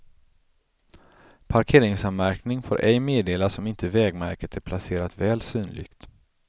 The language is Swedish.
Parkeringsanmärkning får ej meddelas om inte vägmärket är placerat väl synligt.